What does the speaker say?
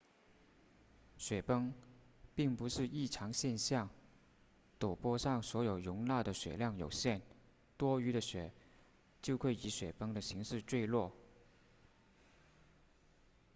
雪崩并不是异常现象陡坡上所能容纳的雪量有限多余的雪就会以雪崩的形式坠落